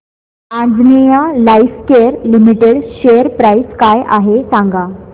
Anjaneya lifecare limited share price काय आहे सांगा